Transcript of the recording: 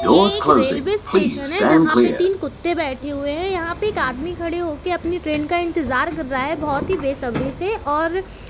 ये एक railway station है। जहाँ पे तीन कुत्ते बैठे हुए है। यहाँ पे एक आदमी खड़े होके अपनी ट्रेन का इंतजार कर रहा है बहुत ही बेसब्री से और --